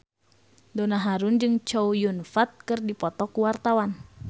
Donna Harun jeung Chow Yun Fat keur dipoto ku wartawan